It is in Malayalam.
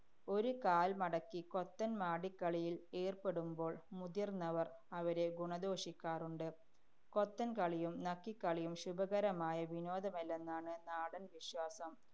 ഒരു കാല്‍ മടക്കി 'കൊത്തന്‍ മാടിക്കളിയില്‍ ഏര്‍പ്പെടുമ്പോള്‍ മുതിര്‍ന്നവര്‍ അവരെ ഗുണദോഷിക്കാറുണ്ട്. കൊത്തന്‍കളിയും, നക്കിക്കളിയും ശുഭകരമായ വിനോദമല്ലെന്നാണ് നാടന്‍ വിശ്വാസം.